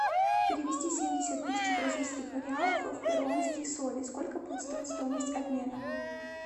перевести семьдесят тысяч бразильских реалов в перуанские соли сколько будет стоить стоимость обмена